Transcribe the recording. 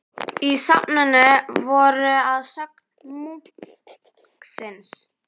Í safninu voru að sögn munksins